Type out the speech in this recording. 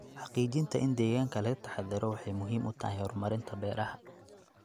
Xaqiijinta in deegaanka laga taxadaro waxay muhiim u tahay horumarinta beeraha.